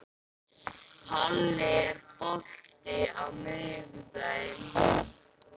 Palli, er bolti á miðvikudaginn?